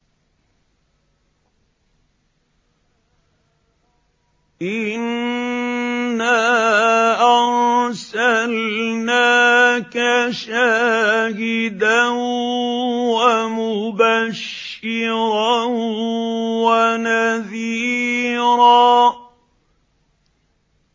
إِنَّا أَرْسَلْنَاكَ شَاهِدًا وَمُبَشِّرًا وَنَذِيرًا